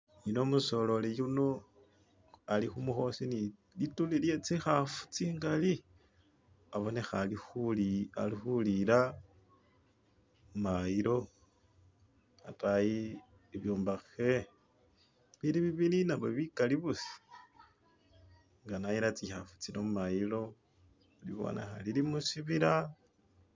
umusololi yuno alikhumukhosi ni lituli lye tsikhafu tsingali abonekha alikhu alikhuliyila khumayilo ataayi bibyombakhe bili bibili nabyo bikali busa nga nayila tsikhafu tsino mumayilo ndikhubona nga lilimusibiila.